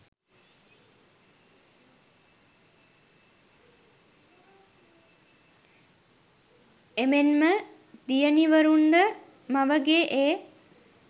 එමෙන්ම දියණිවරුන්ද මවගේ ඒ